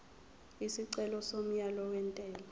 isicelo somyalo wentela